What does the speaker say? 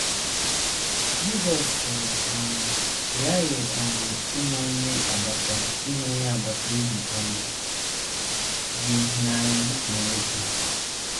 Jizọs sịrị: um “ Ị ghaghị um ịhụ onye agbata ịhụ onye agbata obi um gị n’anya dị ka onwe gị. ”